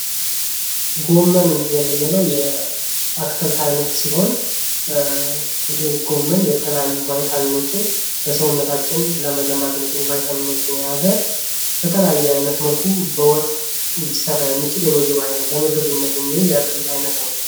ጎመን የምንለው የአትክልት አይነት ሲሆን ይሄ ጎመን የተለያዩ ቫይታሚኖችን ለሰውነታችን ለመገንባት የሚጠቅሙ ቫይታሚኖችን የያዘ በተለያየ አይነት መልኩ በወጥ ሊሰራ የሚችል ለምግብነት የሚውል የአትክልት አይነት ነው።